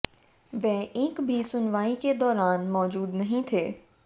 वे एक भी सुनवाई के दौरान मौजूद नहीं थे